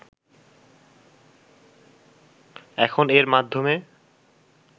এখন এর মাধ্যমে